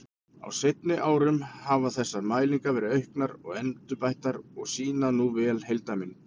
Á seinni árum hafa þessar mælingar verið auknar og endurbættar og sýna nú vel heildarmynd.